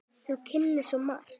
Þú kunnir svo margt.